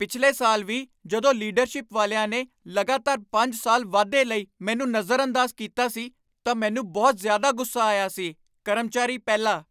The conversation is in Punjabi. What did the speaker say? ਪਿਛਲੇ ਸਾਲ ਵੀ ਜਦੋਂ ਲੀਡਰਸ਼ਿਪ ਵਾਲਿਆਂ ਨੇ ਲਗਾਤਾਰ ਪੰਜ ਸਾਲ ਵਾਧੇ ਲਈ ਮੈਨੂੰ ਨਜ਼ਰਅੰਦਾਜ਼ ਕੀਤਾ ਸੀ ਤਾਂ ਮੈਨੂੰ ਬਹੁਤ ਜ਼ਿਆਦਾ ਗੁੱਸਾ ਆਇਆ ਸੀ ਕਰਮਚਾਰੀ ਪਹਿਲਾ